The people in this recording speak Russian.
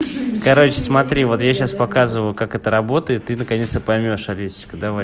короче смотри вот я сейчас показываю как это работает ты наконец-то поймёшь олесю